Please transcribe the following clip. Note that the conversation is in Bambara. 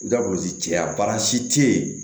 Daburu ti caya baransi te yen